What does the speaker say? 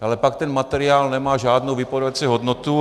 Ale pak ten materiál nemá žádnou vypovídací hodnotu.